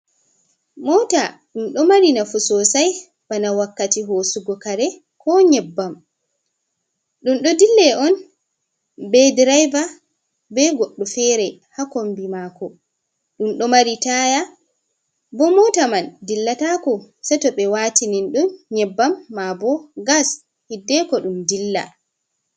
Mota ɗum ɗo mari nafu sosai bana wakkati hosugo kare ko nyebbam, ɗum ɗo dille on be direva be goɗɗo fere ha kombi mako, ɗum ɗo mari taya bo, mota man dillatako sei to ɓe watinin ɗum nyebbam ma bo gas hiddeko ɗum dilla.